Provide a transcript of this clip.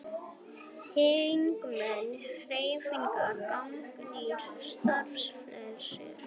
Þingmenn Hreyfingarinnar gagnrýna starfsreglur